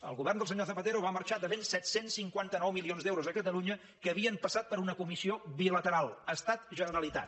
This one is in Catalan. el govern del senyor zapatero va marxar devent set cents i cinquanta nou milions d’euros a catalunya que havien passat per una comissió bilateral estat generalitat